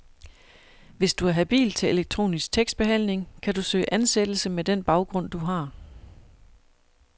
Hvis du er habil til elektronisk tekstbehandling, kan du søge ansættelse med den baggrund, du har.